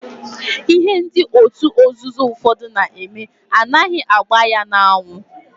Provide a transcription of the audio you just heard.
Ihe ndị otu nzuzo ụfọdụ na-eme anaghị agba ya n'anwụ.